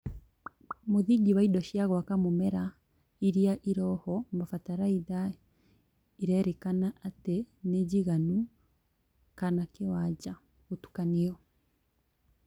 Mũthingi wa indo cia gwaka mũmera iria irĩho, bataraitha ĩrerĩkana atĩ nĩnjigananu kana kĩwanja (gũtukanio)